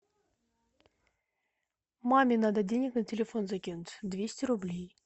маме надо денег на телефон закинуть двести рублей